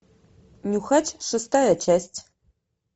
нюхач шестая часть